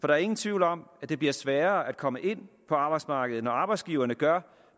der er ingen tvivl om at det bliver sværere at komme ind på arbejdsmarkedet når arbejdsgiverne gør